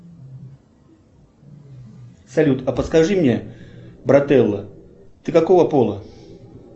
салют а подскажи мне брателло ты какого пола